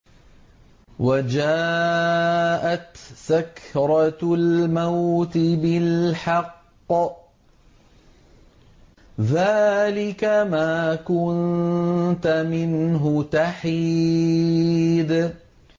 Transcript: وَجَاءَتْ سَكْرَةُ الْمَوْتِ بِالْحَقِّ ۖ ذَٰلِكَ مَا كُنتَ مِنْهُ تَحِيدُ